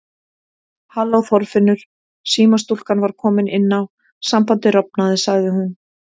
Halló Þorfinnur símastúlkan var komin inn á, sambandið rofnaði sagði hún.